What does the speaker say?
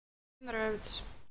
нравится